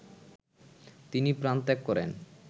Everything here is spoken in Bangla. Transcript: তিনি প্রাণত্যাগ করেন